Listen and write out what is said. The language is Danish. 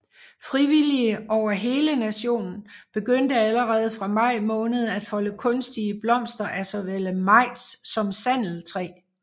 Frivillige over hele nationen begyndte allerede fra maj måned at folde kunstige blomster af såvel majs som sandeltræ